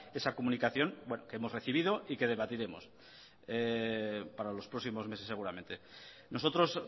esa comunicación que hemos recibido y que debatiremos para los próximos meses seguramente nosotros